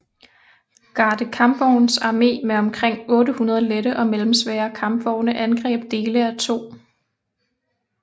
Garde kampvognsarmé med omkring 800 lette og mellemsvære kampvogne angreb dele af 2